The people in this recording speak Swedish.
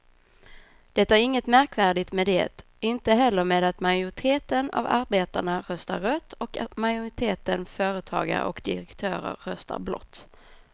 Det är inget märkvärdigt med det, inte heller med att majoriteten av arbetarna röstar rött och att majoriteten företagare och direktörer röstar blått.